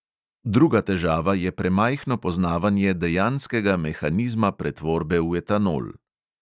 Druga težava je premajhno poznavanje dejanskega mehanizma pretvorbe v etanol.